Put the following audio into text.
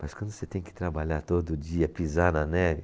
Mas quando você tem que trabalhar todo dia, pisar na neve,